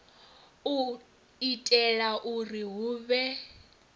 u itela uri hu vhe